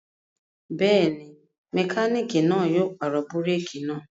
Bẹ́ẹ̀ ni, mẹkáníkì náà yóò pàrọ̀ búrékì náà.